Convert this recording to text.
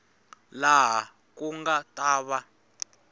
laha ku nga ta va